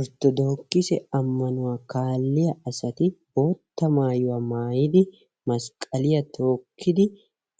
Orttodoogise ammanuwa kaalliya asati bootta mayuwa mayidi masqqaliya tookkidi